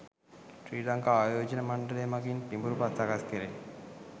ශ්‍රී ලංකා ආයෝජන මණ්ඩලය මගින් පිඹුරු පත් සකස් කෙරේ.